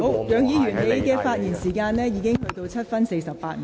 楊議員，你的發言時間已過了7分28秒。